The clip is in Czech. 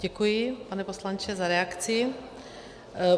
Děkuji, pane poslanče, za reakci.